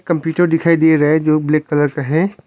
Computer दिखाई दिए रहे जो ब्लैक कलर का है।